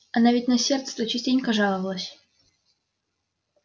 она ведь на сердце-то частенько жаловалась